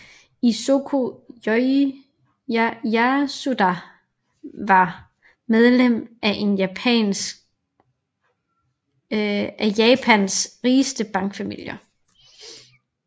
Isoko Yasuda var medlem af en af Japans rigeste bankfamilier